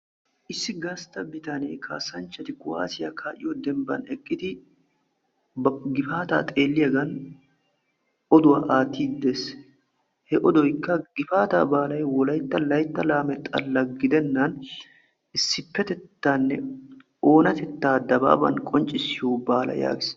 Issi gastta bitanne kaasanchati kuaawassiya ka'yoo dembban eqqidi, ba gifaataa xeeliyaggan oduwaa aattiddi de'ees, he oddoykka gifaataa baallay wolaytta laytta laame xalla gidenani issippettettanne oonattettaa dababani qonccisiyoo baala yaagis.